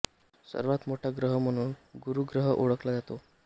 सर्वात मोठा ग्रह म्हणून गुरू ग्रह ओळखला जातो